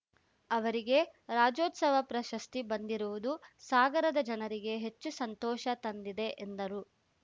ಅವರಿಗೆ ರಾಜ್ಯೋತ್ಸವ ಪ್ರಶಸ್ತಿ ಬಂದಿರುವುದು ಸಾಗರದ ಜನರಿಗೆ ಹೆಚ್ಚು ಸಂತೋಷ ತಂದಿದೆ ಎಂದರು